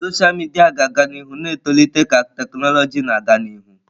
Sọsha midia ga-aga n'ihu na-etolite ka tekinọloji na-aga n'ihu.